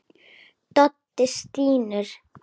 Doddi stynur.